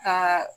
Ka